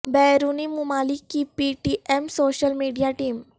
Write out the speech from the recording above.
بیرونی ممالک کی P T M social media team